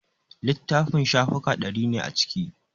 Littafin shafuka ɗari ne a ciki